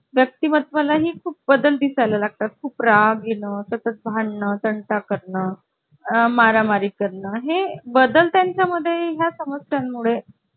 अरे वा छान छान माहिती दिली तुम्ही मला मला अशी सविस्तर माहिती दिली तुम्ही की सर्व काही समजले तुम्ही सांगितले तसे आणि ही सविस्तर माहिती दिल्याबद्दल मनापासून धन्यवाद तुमचे